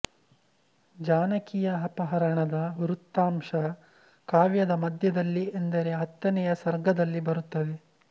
ಜಾನಕಿಯ ಅಪಹರಣದ ವೃತ್ತಾಂಶ ಕಾವ್ಯದ ಮಧ್ಯದಲ್ಲಿ ಎಂದರೆ ಹತ್ತನೆಯ ಸರ್ಗದಲ್ಲಿ ಬರುತ್ತದೆ